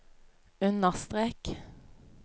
understrek